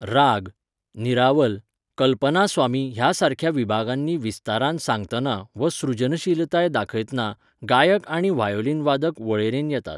राग, निरावल, कल्पनास्वामी ह्या सारक्या विभागांनी विस्तारान सांगतना वा सृजनशीलताय दाखयतना गायक आनी व्हायोलीनवादक वळेरेन येतात.